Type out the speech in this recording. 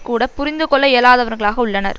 கூட புரிந்துகொள்ள இயலாதவர்களாக உள்ளனர்